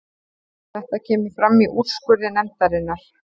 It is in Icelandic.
Þetta kemur fram í úrskurði nefndarinnar